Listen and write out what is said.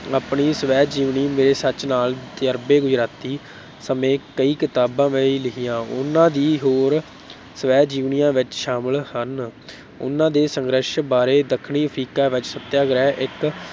ਆਪਣੀ ਸਵੈ-ਜੀਵਨੀ, ਮੇਰੇ ਸਚ ਨਾਲ ਤਜਰਬੇ ਗੁਜਰਾਤੀ ਸਮੇਤ ਕਈ ਕਿਤਾਬਾਂ ਵੀ ਲਿਖੀਆਂ, ਉਨ੍ਹਾਂ ਦੀ ਹੋਰ ਸਵੈ-ਜੀਵਨੀਆਂ ਵਿੱਚ ਸ਼ਾਮਲ ਹਨ ਉਨ੍ਹਾਂ ਦੇ ਸੰਘਰਸ਼ ਬਾਰੇ ਦੱਖਣੀ ਅਫਰੀਕਾ ਵਿੱਚ ਸੱਤਿਆਗ੍ਰਹਿ, ਇੱਕ